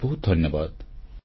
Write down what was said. ବହୁତ ବହୁତ ଧନ୍ୟବାଦ